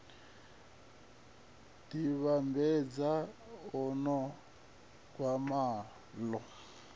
ḓi vhambedza nao gwama ḽo